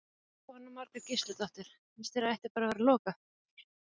Jóhanna Margrét Gísladóttir: Finnst þér að ætti bara að vera lokað?